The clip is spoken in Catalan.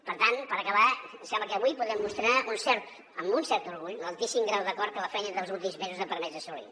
per tant per acabar em sembla que avui podem mostrar amb un cert orgull l’altíssim grau d’acord que la feina dels últims mesos ha permès assolir